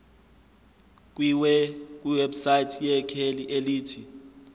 kwiwebsite yekheli elithi